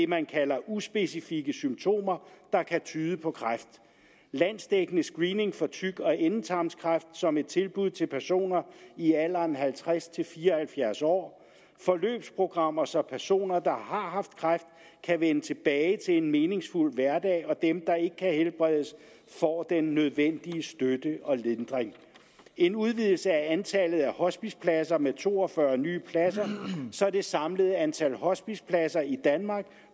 man kalder uspecifikke symptomer der kan tyde på kræft landsdækkende screening for tyk og endetarmskræft som et tilbud til personer i alderen halvtreds til fire og halvfjerds år forløbsprogrammer så personer der har haft kræft kan vende tilbage til en meningsfuld hverdag og dem der ikke kan helbredes får den nødvendige støtte og lindring en udvidelse af antallet af hospicepladser med to og fyrre nye pladser så det samlede antal hospicepladser i danmark